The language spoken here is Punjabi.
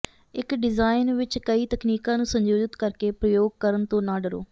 ਇੱਕ ਡਿਜ਼ਾਇਨ ਵਿੱਚ ਕਈ ਤਕਨੀਕਾਂ ਨੂੰ ਸੰਯੋਜਿਤ ਕਰਕੇ ਪ੍ਰਯੋਗ ਕਰਨ ਤੋਂ ਨਾ ਡਰੋ